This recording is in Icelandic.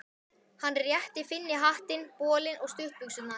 Hann rétti Finni hattinn, bolinn og stuttbuxurnar.